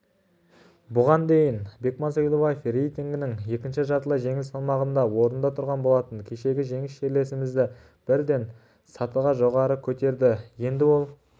бұған дейін бекман сойлыбаев рейтингінің екінші жартылай жеңіл салмағында орында тұрған болатын кешегі жеңіс жерлесімізді бірден сатыға жоғары көтерді енді ол